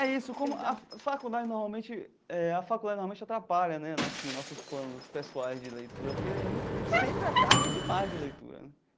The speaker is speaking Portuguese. É isso. A faculdade normalmente eh a faculdade normalmente atrapalha né assim nossos planos pessoais de leitura, porque sempre a carga é demais de leitura.